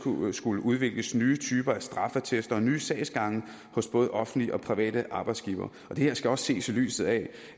skulle udvikles nye typer af straffeattester og nye sagsgange hos både offentlige og private arbejdsgivere det her skal også ses i lyset af